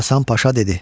Hasan Paşa dedi: